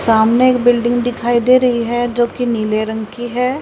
सामने एक बिल्डिंग दिखाई दे रही है जो की नीले रंग की है।